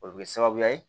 O bɛ kɛ sababu ye